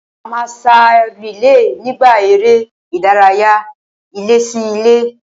A máa sá rìílè nígbà eré ìdárayá ilé-sí-ilé